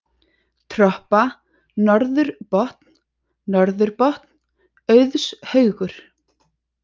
Troppa, Norður Botn, Norður-Botn, Auðshaugur